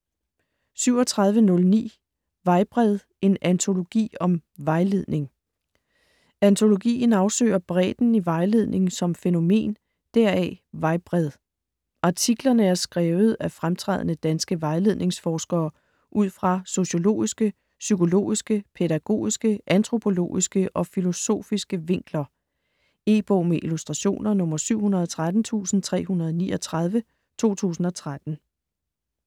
37.09 Vejbred: en antologi om vejledning Antologien afsøger bredden i vejledning som fænomen - deraf: Vejbred. Artiklerne er skrevet af fremtrædende danske vejledningsforskere ud fra sociologiske, psykologiske, pædagogiske, antropologiske og filosofiske vinkler. E-bog med illustrationer 713339 2013.